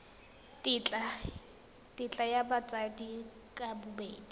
tetla ya batsadi ka bobedi